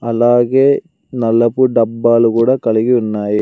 అలాగే నలపు డబ్బాలు కూడా కలిగి ఉన్నాయి.